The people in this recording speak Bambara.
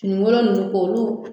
Finikɔlɔ ninnu ko olu